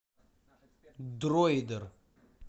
дройдер